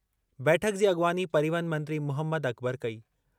बैठक जी अॻवानी परिवहन मंत्री मुहमद अकबर कई।